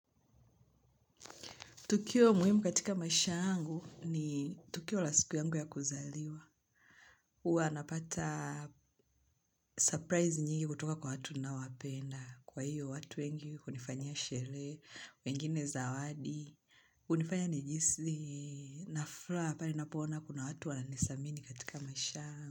Tukio muhimu katika maisha angu ni tukio la siku yangu ya kuzaliwa. Huwa napata surprise nyingi kutoka kwa watu nawapenda. Kwa hiyo watu wengi hunifanyia sherehe, wengine zawadi, kunifanya nijihisi na furaha, pale napoona kuna watu wananidhamini katika maisha.